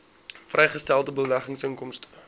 vrygestelde beleggingsinkomste